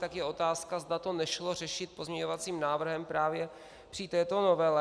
Tak je otázka, zda to nešlo řešit pozměňovacím návrhem právě při této novele.